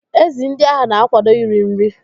Ezi ndị ahụ na-akwado iri nri.